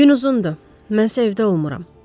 Gün uzundur, mən səhər evdə olmuram.